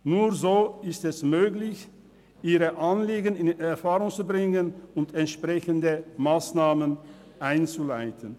Nur so ist es möglich, ihre Anliegen in Erfahrung zu bringen und entsprechende Massnahmen einzuleiten.